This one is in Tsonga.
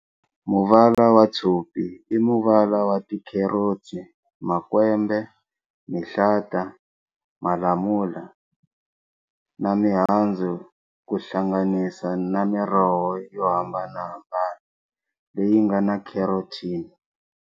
Muvala wa tshopi i muvala wa tikherotsi, makwembe, mihlata, malamula, na mihandzu kuhlanganisa na miroho yo hambanahambana leyingana Carotene.